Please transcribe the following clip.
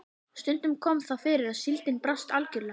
Stundum kom það fyrir að síldin brást algjörlega.